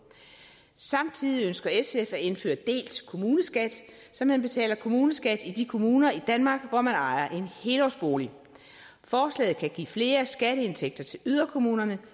samtidig ønsker sf at indføre delt kommuneskat så man betaler kommuneskat i de kommuner i danmark hvor man ejer en helårsbolig forslaget kan give flere skatteindtægter til yderkommunerne